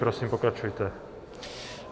Prosím, pokračujte.